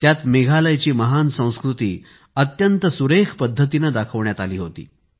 यात मेघालयाची महान संस्कृती अत्यंत सुरेख पद्धतीने दाखवण्यात आली होती